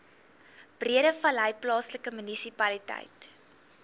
breedevallei plaaslike munisipaliteit